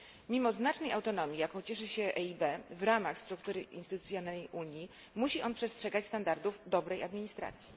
Mimo znacznej autonomii, jaką cieszy się EIB w ramach struktury instytucjonalnej Unii, musi on przestrzegać standardów dobrej administracji.